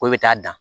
Ko i bɛ taa dan